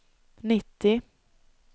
nittio